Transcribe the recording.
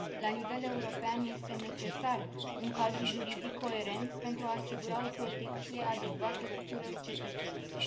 La nivel european, este necesar un cadru juridic coerent pentru a asigura o protecție adecvată tuturor cetățenilor.